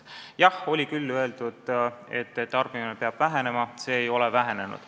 Jah, oli küll öeldud, et tarbimine peab vähenema, aga see ei ole vähenenud.